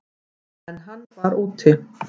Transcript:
En hann var úti.